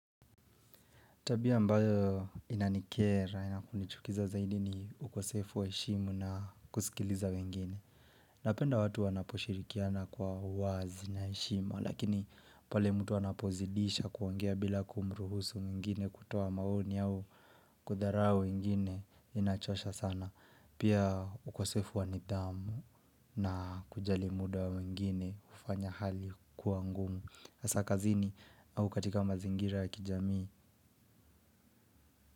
Tabia ambayo inanikera na kunichukiza zaidi ni ukosefu wa heshima na kusikiliza wengine. Napenda watu wanaposhirikiana kwa uwazi na heshimu, lakini pale mtu anapozidisha kuongea bila kumruhusu mwingine kutoa maoni au kudharao wengine inachosha sana. Pia ukosefu wanidh amu na kujalimuda mengine ufanya hali kuangumu. Hasa kazini au katika mazingira ya kijamii.